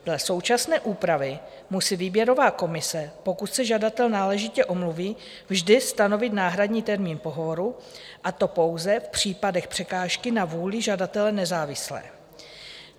Dle současné úpravy musí výběrová komise, pokud se žadatel náležitě omluví, vždy stanovit náhradní termín pohovoru a to pouze v případech překážky na vůli žadatele nezávislé.